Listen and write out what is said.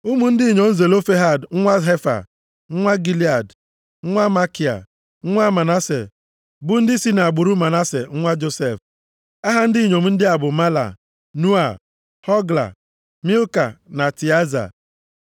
Ụmụ ndị inyom Zelofehad nwa Hefa, nwa Gilead, nwa Makia, nwa Manase bụ ndị si nʼagbụrụ Manase nwa Josef. Aha ndị inyom ndị a bụ: Mahla, Noa, Hogla, Milka na Tịaza. Ha bịara,